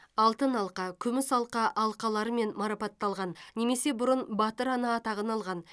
алтын алқа күміс алқа алқаларымен марапатталған немесе бұрын батыр ана атағын алған